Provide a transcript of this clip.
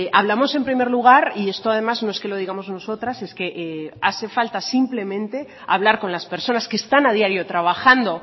hablamos en primer lugar y esto además no es que lo digamos nosotras es que hace falta simplemente hablar con las personas que están a diario trabajando